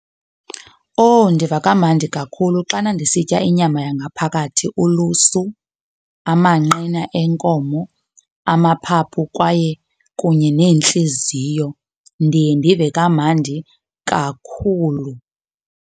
Oh, ndiva kamandi kakhulu xana ndisitya inyama yangaphakathi ulusu, amanqina enkomo, amaphaphu kwaye kunye neentliziyo. Ndiye ndive kamandi kakhulu.